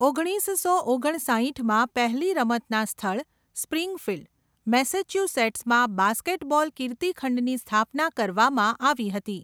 ઓગણીસસો ઓગણસાઇઠમાં પહેલી રમતના સ્થળ, સ્પ્રિંગફિલ્ડ, મેસેચ્યુસેટ્સમાં બાસ્કેટબોલ કીર્તિ ખંડની સ્થાપના કરવામાં આવી હતી.